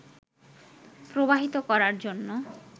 প্রবাহিত করার জন্য